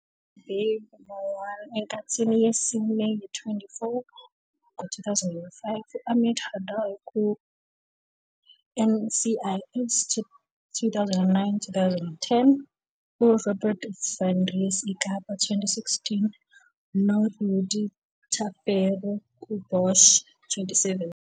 U-Habib Marwan enkathini yesine ye-"24", 2005, u-Amit Hadar ku-I-NCIS, 2009-10, uRobin van Rees IKapa, 2016, noRudy Tafero ku-UBosch, 2017.